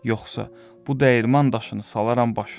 Yoxsa bu dəyirman daşını salaram başına.